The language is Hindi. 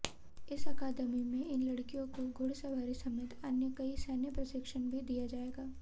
इस अकादमी में इन लड़कियों को घुड़सवारी समेत अन्य कई सैन्य प्रशिक्षण भी दिया जाएगा